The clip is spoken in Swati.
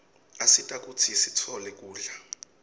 asita kutsi sitfole kudla